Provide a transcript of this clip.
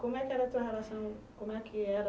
Como é que era a tua relação, como é que era